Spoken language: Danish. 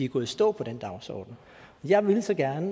gået i stå på den dagsorden jeg ville så gerne